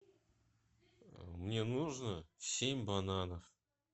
мне нужно семь бананов